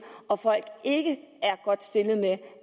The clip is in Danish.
og at folk ikke er godt stillet med